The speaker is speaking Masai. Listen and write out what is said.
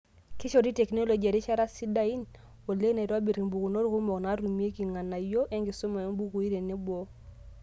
Keishoru tekinoloji irishat sidain oleng' naitobirr impukunot kumok naatumieki enkarriyano enkisuma oombukui weneboo.